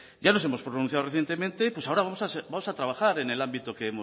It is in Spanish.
ya nos hemos pronunciado recientemente pues ahora vamos a trabajar en el ámbito que